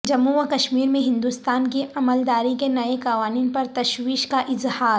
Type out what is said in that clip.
جموں وکشمیر میں ہندوستان کی عملداری کے نئے قوانین پر تشویش کا اظہار